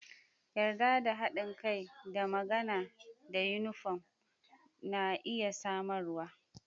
Yarda da haɗin kai da magana da yunifom na iya samarwa.